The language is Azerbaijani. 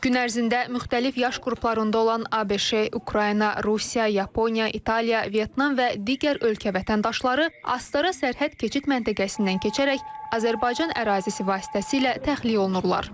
Gün ərzində müxtəlif yaş qruplarında olan ABŞ, Ukrayna, Rusiya, Yaponiya, İtaliya, Vyetnam və digər ölkə vətəndaşları Astara sərhəd keçid məntəqəsindən keçərək Azərbaycan ərazisi vasitəsilə təxliyə olunurlar.